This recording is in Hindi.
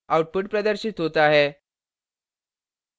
output प्रदर्शित होता है